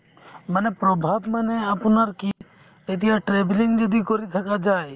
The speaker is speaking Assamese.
মানে প্ৰভাৱ মানে আপোনাৰ কি এতিয়া travelling যদি কৰি থাকা যায়